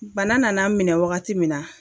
Bana nana n minɛ wagati min na